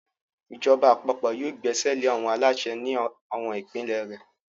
Ìjọba àpapọ̀ yóò gbẹ́sẹ̀lé àwọn aláṣẹ ní àwọn ìpínlẹ̀ rẹ̀.